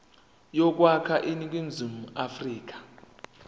yokwakha iningizimu afrika